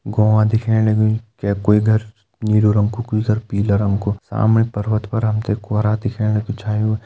गोआं दिखेण लग्युं के कोई घर नीलू रंग कु कोई घर पिला रंग कु सामने पर्वत पर हमते कोरा दिख्याणु की छायुं।